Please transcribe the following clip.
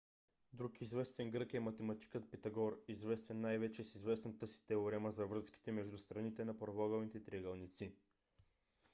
друг известен грък е математикът питагор известен най - вече с известната си теорема за връзките между страните на правоъгълните триъгълници